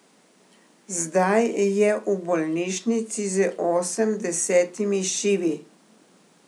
Zdaj je v bolnišnici z osemdesetimi šivi.